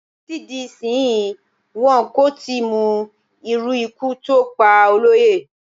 Títí di ìsinsìnyí, wọn kò tí ì mo irú ikú tí ó pa Olóyè.